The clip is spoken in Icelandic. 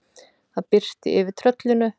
Það birti yfir tröllinu.